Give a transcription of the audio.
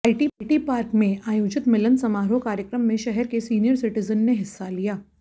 IT park में आयोजित मिलन समारोह कार्यक्रम में शहर के सीनियर सीटिजन ने हिस्सा लिया